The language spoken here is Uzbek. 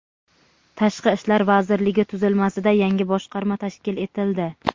Tashqi ishlar vazirligi tuzilmasida yangi boshqarma tashkil etildi.